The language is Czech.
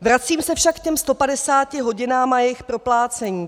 Vracím se však k těm 150 hodinám a jejich proplácení.